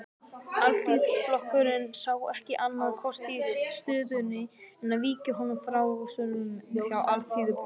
Alþýðuflokkurinn sá ekki annan kost í stöðunni en að víkja honum frá störfum hjá Alþýðublaðinu.